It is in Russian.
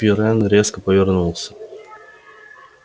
пиренн резко повернулся